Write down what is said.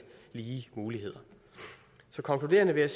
lige muligheder så konkluderende vil